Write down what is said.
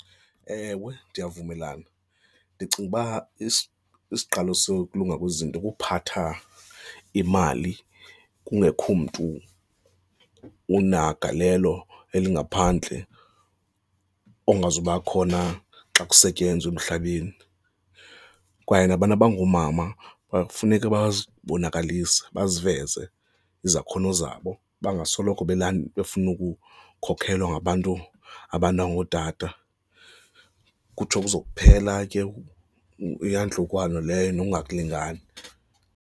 Ewe, ndiyavumelana. Ndicinga uba isiqalo sokulunga kwezinto kuphatha imali kungekho mntu unagalelo elingaphandle ongazuba khona xa kusetyenzwa emhlabeni. Kwaye nabantu abangoomama funeke bazibonakalisa baziveze izakhono zabo bangasoloko befuna ukukhokhelwa ngabantu, abantu abangootata, kutsho kuzophela ke iyantlukwano leyo nokungalingani.